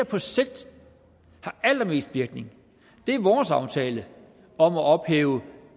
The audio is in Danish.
på sigt har allermest virkning er vores aftale om at ophæve